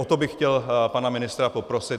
O to bych chtěl pana ministra poprosit.